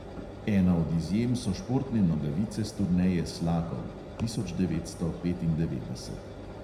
Ena od izjem so športne nogavice s turneje slakov (tisoč devetsto petindevetdeset).